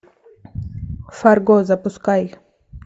фарго запускай